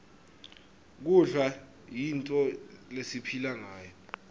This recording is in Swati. kudla yintfo lesipihla ngayo